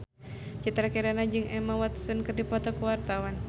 Citra Kirana jeung Emma Watson keur dipoto ku wartawan